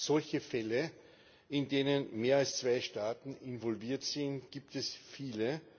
Solche Fälle, in denen mehr als zwei Staaten involviert sind, gibt es viele.